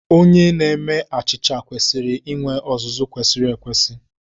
Onye na-eme achịcha kwesịrị inwe ọzụzụ kwesịrị ekwesị.